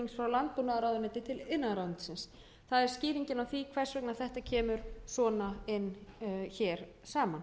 landbúnaðarráðuneyti til iðnaðarráðuneytis það er skýringin á því hvers vegna þetta kemur svona inn hér saman